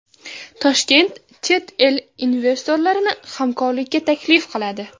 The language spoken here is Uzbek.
Toshkent chet el investorlarini hamkorlikka taklif qiladi.